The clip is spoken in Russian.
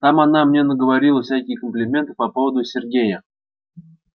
там она мне наговорила всяких комплиментов по поводу сергея